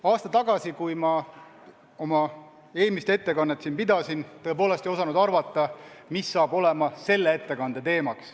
Aasta tagasi, kui ma oma eelmist ettekannet siin pidasin, ma tõepoolest ei osanud arvata, mis saab olema tänavuse ettekande teemaks.